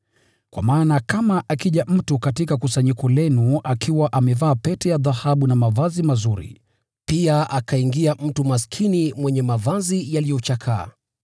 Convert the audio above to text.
Kwa maana kama akija mtu katika kusanyiko lenu akiwa amevaa pete ya dhahabu na mavazi mazuri, pia akaingia mtu maskini mwenye mavazi yaliyochakaa,